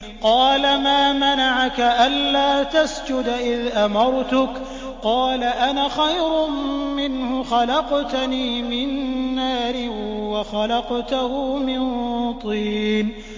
قَالَ مَا مَنَعَكَ أَلَّا تَسْجُدَ إِذْ أَمَرْتُكَ ۖ قَالَ أَنَا خَيْرٌ مِّنْهُ خَلَقْتَنِي مِن نَّارٍ وَخَلَقْتَهُ مِن طِينٍ